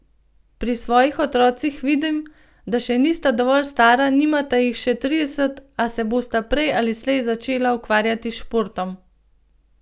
Pri svojih otrocih vidim, da še nista dovolj stara, nimata jih še trideset, a se bosta prej ali slej začela ukvarjati s športom.